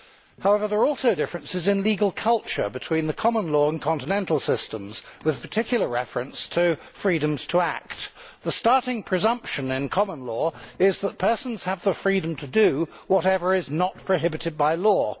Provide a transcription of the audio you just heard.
However, there are also differences in legal culture between the common law and continental systems, with particular reference to freedoms to act. The starting presumption in common law is that persons have the freedom to do whatever is not prohibited by law.